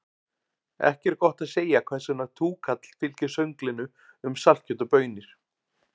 Ekki er gott að segja hvers vegna túkall fylgir sönglinu um saltkjöt og baunir.